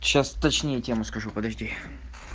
сейчас точнее тему скажу подожди